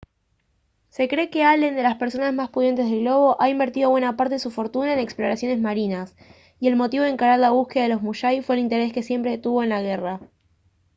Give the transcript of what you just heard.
se cree que allen de las personas más pudientes del globo ha invertido buena parte de su fortuna en exploraciones marinas y el motivo de encarar la búsqueda de los musashi fue el interés que siempre tuvo en la guerra